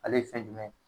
Ale ye fɛn jumɛn ye